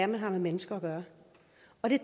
man har med mennesker at gøre